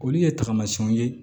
Olu ye tamasiyɛnw ye